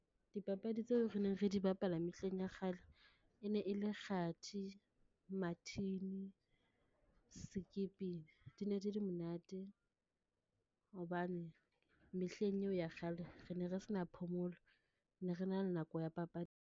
Dipapadi tseo re neng re di bapala mehleng ya kgale, e ne e le kgathi, mathini, sekipini. Di ne di di monate hobane mehleng eo ya kgale, re ne re sa na phomolo. Ne re na le nako ya papadi.